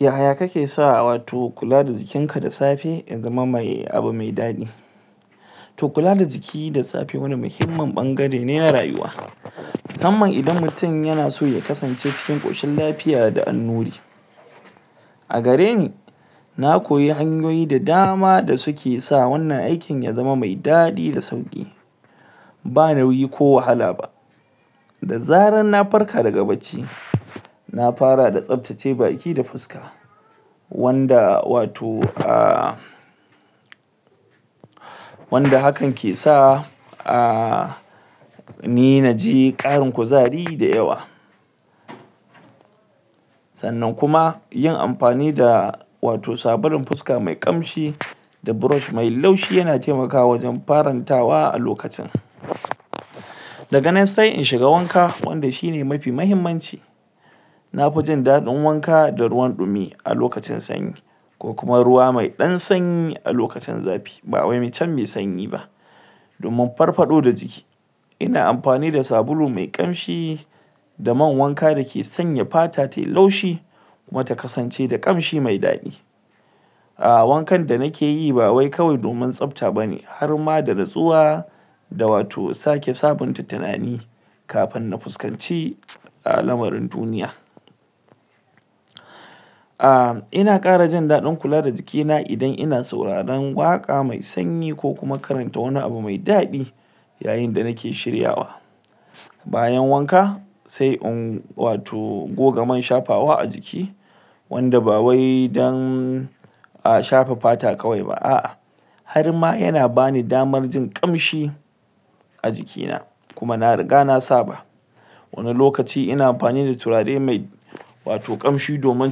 yaya kake sa wato kula da jikin ka da safe ya zama mai abu mai dadi to kula da jiki da safewani muhimmin bangare ne na rayuwa musamman idan mutum yana so ya kasance ciki koshin lafiya da annuri a gareni na koyi hanyoyi da dama da suke sa wannan aikin ya zama mai dadi da sauki ba nauyi ko wahala ba da zaran na farka daga bacci na fara da tabtace baki da fuska wanda wato ah wanda hakan ke sa ah ni naji karin kuzari da yawa sannan kuma yin da wato sabulun fuska me kamshi da brush me laushi yana taimakawa wajen farantawa a lokacin daga nan sai in shiga wanka wanda shine mafi muhimmanci nafi jin dadin wanka da ruwan dumi musamman lokacin sanyi ko kuma ruwa me dan sanyi a lokacin zafi domin farfado da jiki ina amfani da sabulu me kamshi da man wanka dake sanya fata tayi laushi kuma ta kasance da kamshi me dadi ah wankan da nikeyi ba wai kawai domin tsabta bane harma da natsuwa da wato sake sabunta tunani kafin na fusakanci ah lamarin duniya ah ina kara jin dadin kula da jiki na idan ina sauraren waka me sanyi ko kuma karanta wani abu me dadi yayin da nike shiryawa bayan wanka sai in wato goga man shafawa a jiki wanda bawai dan shada fata kawai ba a'a harma yana bani damar jin kamshi jiki na kuma na riga na saba wani lokaci ina amfani da turare me wato kamshi domin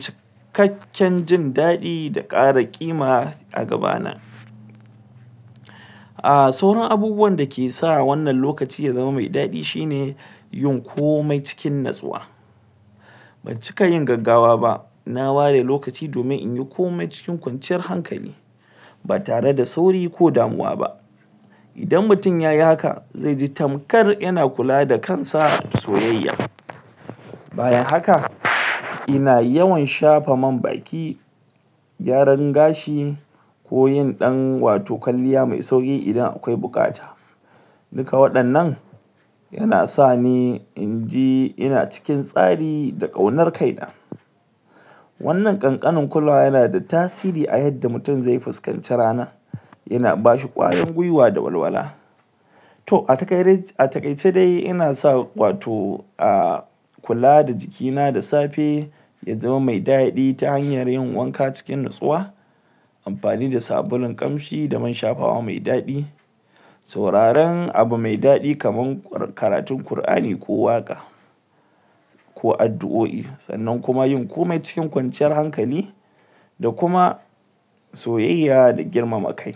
cikakken jin dadi da kara kima a gaba na ah sauran abubuwan dake sa wannan lokaci ya zama mai dadi shine yin komai cikin natsuwa bancika yin gaggawa ba na ware lokaci domin inyi komai cikin kwanciyar hankali ba tare da sauri ko damuwa ba idan mutum yayi haka zaiji tamkar yana kula da kansa soyayya bayan haka ina yawan shafa man baki gyaran gashi ko yin dan wato kwalliya me sauki idan akwai bukata duka wadannan yana sani inji ina cikin tsari da kaunar kaina wannan kankanuwar kulawa nada tasiri a yadda mutum zai fuskaci rana yana bashi kwarin gwiwa da walwala to a takaice ina sa wato ah kula da jiki na da safe ya zama mai dadi ta hanyar yin wanka cikin natsuwa amfani da sabulun kamshi da man shafawa mai dadi sauraren abu me dadi kamar karatun al-qurani ko waka ko addu'oi sannan kuma yin komai cikin kwanciyar hankali da kuma soyayya da girmama kai